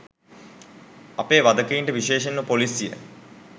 අපේ වධකයින්ට විශේෂයෙන්ම පොලීසිය